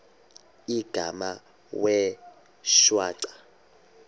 igama wee shwaca